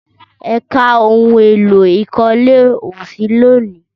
Ẹ̀ka ohun èlò ìkólé ò sí lénìí